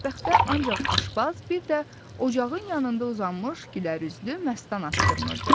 Mətbəxdə ancaq aşpaz, bir də ocağın yanında uzanmış gülərüzlü məstan asqırmırdı.